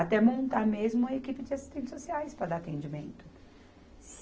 Até montar mesmo uma equipe de assistentes sociais para dar atendimento.